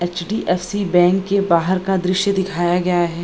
HDFC. Bank के बाहर का दृश्य दिखाया गया है।